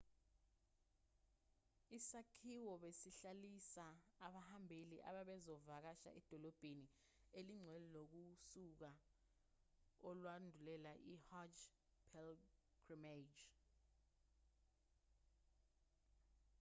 isakhiwo besihlalisa abahambeli ababezovakasha edolobheni elingcwele ngosuku olwandulela i-hajj pilgrimage